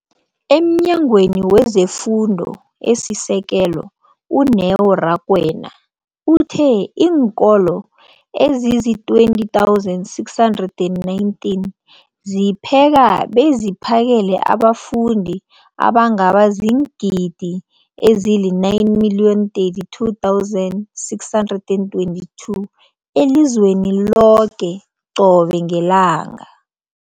EmNyangweni wezeFundo esiSekelo, u-Neo Rakwena, uthe iinkolo ezizi-20 619 zipheka beziphakele abafundi abangaba ziingidi ezili-9 032 622 elizweni loke qobe ngelanga.